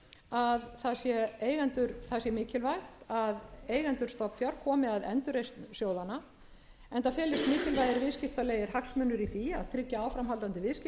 að það sé mikilvægt að eigendur stofnfjár komi komi að endurreisn sjóðanna enda felist mikilvægir viðskiptalegir hagsmunir í því að tryggja áframhaldandi viðskipti